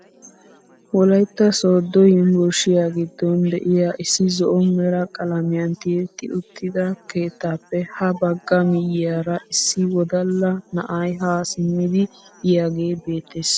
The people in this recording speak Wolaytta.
Wolaytta sooddo yunburushiyaa giddon de'iyaa issi zo'o mera qalamiyaan tiyetti uttida keettaappe ha bagga miyiyaara issi wodalla na'ayhaa simmidi yiyaage beettees.